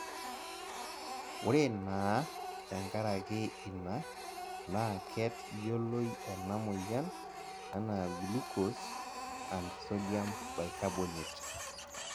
ore naa te nkaraki ina naa ket=yioloi ena moyian anaa glucose and sodium bicarbonate.